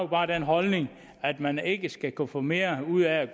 bare den holdning at man ikke skulle kunne få mere ud af at